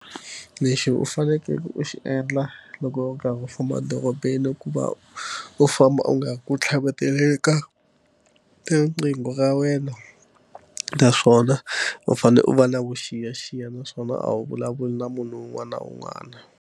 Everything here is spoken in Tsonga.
Lexi u fanekele u xi endla loko u karhi u famba edorobeni ku va u famba u nga ri ku tlhaveteleni eka riqingho ra wena naswona u fanele u va na vuxiyaxiya naswona a wu vulavuli na munhu un'wana na un'wana.